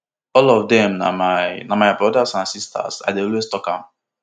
all of dem na my na my brothers and sisters i dey always tok am